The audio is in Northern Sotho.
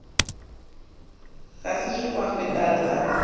go sešo gwa feta lebaka